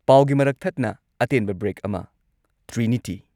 ꯄꯥꯎꯒꯤ ꯃꯔꯛ ꯊꯠꯅ ꯑꯇꯦꯟꯕ ꯕ꯭ꯔꯦꯛ ꯑꯃ ꯇ꯭ꯔꯤꯅꯤꯇꯤ